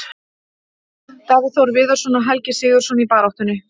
Davíð Þór Viðarsson og Helgi SIgurðsson í baráttunni.